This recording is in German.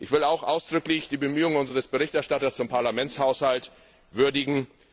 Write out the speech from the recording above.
Ich will auch ausdrücklich die Bemühungen unseres Berichterstatters zum Parlamentshaushalt würdigen.